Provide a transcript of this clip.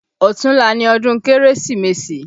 Ọ̀tunla ni ọdún Kérésìmesì